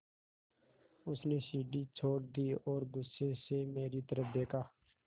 उसने सीढ़ी छोड़ दी और गुस्से से मेरी तरफ़ देखा